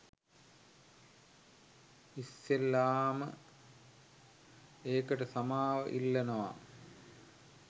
ඉස්සෙල්ලාම ඒකට සමාව ඉල්ලනවා